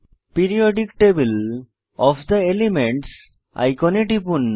periodic table of the elements আইকনে টিপুন